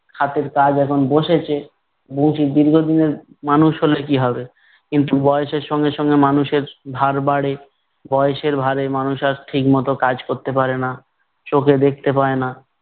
হাতের কাজ এখন বসেছে। বংশী দীর্ঘদিনের মানুষ হলে কি হবে, কিন্তু বয়সের সঙ্গে সঙ্গে মানুষের ধার বাড়ে, বয়সের ভারে মানুষ আর ঠিকমতো কাজ করতে পারে না, চোখে দেখতে পায় না।